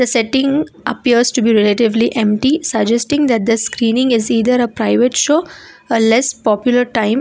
the setting appears to be relatively empty suggesting that the screening is either a private show or less popular time.